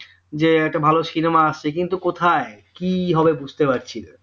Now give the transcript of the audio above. যে একটা ভালো cinema আসছে কিন্তু কোথায় কি হবে বুঝতে পারছিনা